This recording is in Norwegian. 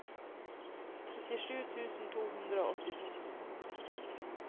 trettisju tusen to hundre og åttito